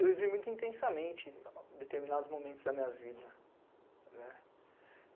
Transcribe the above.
Eu vivi muito intensamente determinados momentos da minha vida.